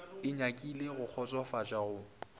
e nyakile go kgotsofatša go